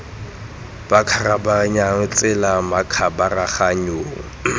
ba kgabaganyang tsela fa makgabaganyong